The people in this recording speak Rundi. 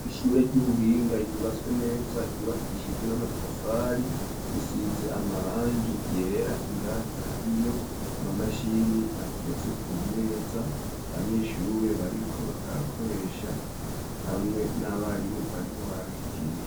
Iishure ry'ubuhinga ryubatswe neza ryubakishijwe n'amatafari asize amarangi yera indani hariyo amamashini ateretse ku meza abanyeshure bariko barakoresha hamwe n'abarimu barimwo barabigisha.